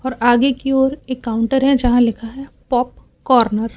और आगे की ओर एक काउंटर हैं जहां लिखा हैं पॉप कॉर्नर ।